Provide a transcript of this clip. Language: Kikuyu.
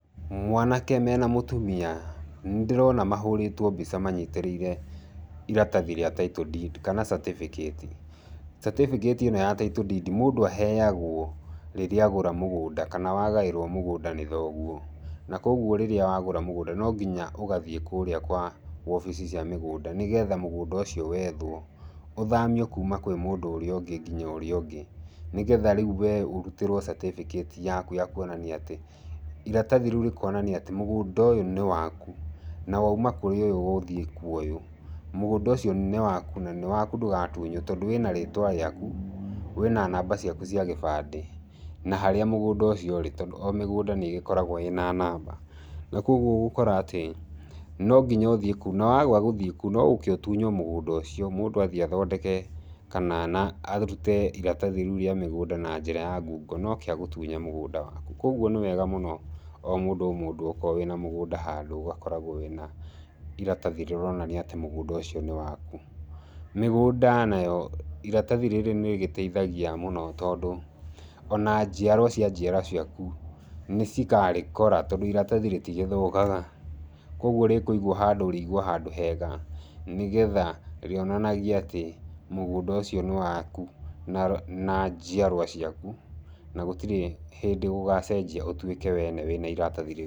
Mwanake mena mũtumia. Nĩ ndĩrona mahũrĩtwo mbica manyitĩrĩire iratathi rĩa Title Deed kana certificate. Certificate ĩno ya Title Deed mũndũ aheagwo rĩrĩa agũra mũgũnda. Kana wagaĩrwo mũgũnda nĩ thoguo. Na kũguo rĩrĩa wagũra mũgũnda, no nginya ũgathiĩ kũũrĩa kwa wobici cia mĩgũnda, nĩgetha mũgũnda ũcio wethwo. Ũthamio kuuma kwĩ mũndũ ũrĩa ũngĩ nginya ũrĩa ũngĩ. Nĩgetha rĩu we ũrutĩrwo certificate yaku ya kuonania atĩ, iratathi rĩu rĩkonania atĩ, mũgũnda ũyũ nĩ waku. Na wauma kũrĩ ũyũ gũthiĩ kwa ũyũ. Mũgũnda ũcio nĩ waku, na nĩ waku ndũgatunywo, tondũ wĩna rĩtwa rĩaku, wĩna namba ciaku cia gĩbandĩ, na harĩa mũgũnda ũcio ũrĩ. Tondũ o mĩgũnda nĩ ĩgĩkoragwo ĩna namba. Na kũguo ũgũkora atĩ, no nginya ũthiĩ kũu. Na waga gũthiĩ kũu, no ũũke ũtunywo mũgũnda ũcio, mũndũ athiĩ athondeke, kana na arute iratathi rĩu rĩa mũgũnda na njĩra ya ngungo na ooke agũtunye mũgũnda waku. Kũguo nĩ wega mũno o mũndũ o mũndũ okorwo wĩna mũgũnda handũ ũgakoragwo wĩna iratathi rĩronania atĩ mũgũnda ũcio nĩ waku. Mĩgũnda nayo, iratathi rĩrĩ nĩ rĩgĩteithagia mũno tondũ, ona njiarwa cia njiarwa ciaku, cikarĩkora tondũ iratathi rĩtigĩthũkaga. Kũguo rĩkũigwo handũ rĩigwo handũ hega nĩgetha rĩonanagie atĩ mũgũnda ũcio nĩ waku na na njiarwa ciaku, na gũtirĩ hĩndĩ gũgacenjia ũtuĩke we nĩwe na iratathi rĩu.